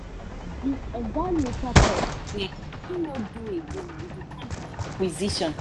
the oga later talk say him no do again with the company acquisition.